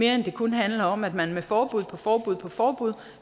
at det kun handler om at man med forbud på forbud på forbud